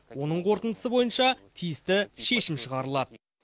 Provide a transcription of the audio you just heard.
оның қорытындысы бойынша тиісті шешім шығарылады